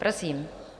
Prosím.